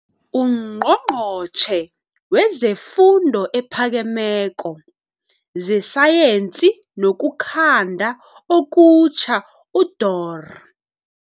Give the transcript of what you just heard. UNgqongqotjhe wezeFundo ePhakemeko, zeSayensi nokuKhanda okuTjha uDorh.